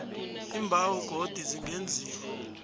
iimbawo godu zingenziwa